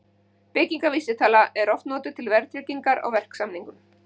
Byggingarvísitalan er oft notuð til verðtryggingar á verksamningum.